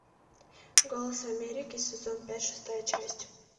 голос америки сезон пять шестая часть